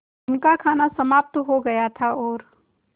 उनका खाना समाप्त हो गया था और